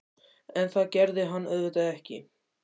En það gerði hann auðvitað ekki.